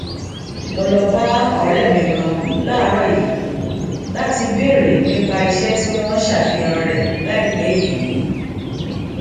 mo lọ bá òré mi kan láàárò yìí láti béèrè nípa iṣẹ tí wọn ṣàfihàn rẹ láìpé yìí